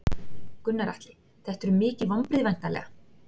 Gunnar Atli: Þetta eru mikil vonbrigði væntanlega?